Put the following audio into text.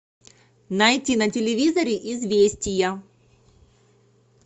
найти на телевизоре известия